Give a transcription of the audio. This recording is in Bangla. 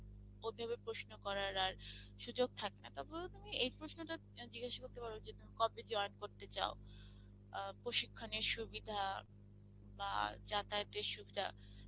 প্রশ্ন করার আর সুযোগ থাকবে না, তারপরে তো তুমি এই প্রশ্নটা জিগ্গেস করতে পর যে, কবে join করেতে চাও আ প্রশিক্ষণের সুবিধা বা যাতায়াতের সুবিধা